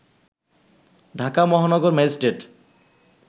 ঢাকা মহানগর ম্যাজিস্ট্রেট